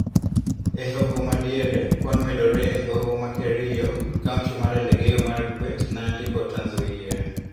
E hoho madiere, kwan medore e hoho ma Kerio, kaunti mar Elgeyo Marakwet, Nandi kod Trans Nzoia.